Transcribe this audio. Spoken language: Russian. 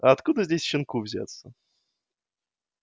а откуда здесь щенку взяться